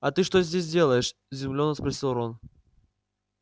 а ты что здесь делаешь изумлённо спросил рон